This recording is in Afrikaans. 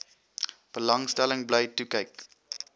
belangstelling bly toekyk